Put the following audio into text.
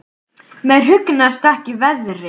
Mér hugnast ekki veðrið.